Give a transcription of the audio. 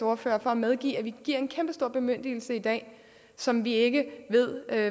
ordfører for at medgive at vi giver en kæmpestor bemyndigelse i dag som vi ikke ved